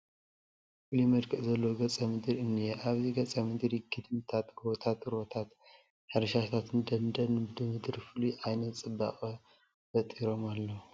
ፍሉይ መልክዕ ዘለዎ ገፀ ምድሪ እኒአ፡፡ ኣብዚ ገፀ ምድሪ ግድምታት፣ ጎባታት፣ ሩባታት፣ ሕርሻታትን ደንን ብድምር ፍሉይ ዓይነት ፅባቐ ፈጢሮም ኣለዉ፡፡